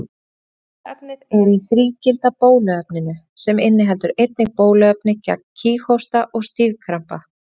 Bóluefnið er í þrígilda bóluefninu, sem inniheldur einnig bóluefni gegn kíghósta og stífkrampa.